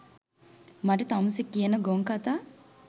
මට තමුසෙ කියන ගොන් කතා